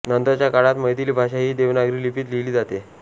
नंतरच्या काळात मैथिली भाषा ही देवनागरी लिपीत लिहीली जाते